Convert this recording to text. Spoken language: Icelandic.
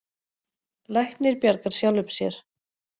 Læknir bjargar sjálfum sér.